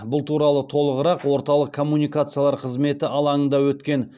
бұл туралы толығырақ орталық коммуникациялар қызметі алаңында өткен